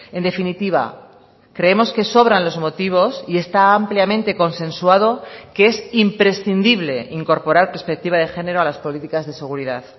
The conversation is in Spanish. en definitiva creemos que sobran los motivos y está ampliamente consensuado que es imprescindible incorporar perspectiva de género a las políticas de seguridad